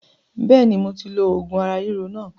Bẹ́ẹ̀ni moti lo oògùn ara ríro náà